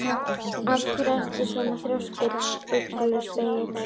Af hverju ertu svona þrjóskur, Ugluspegill?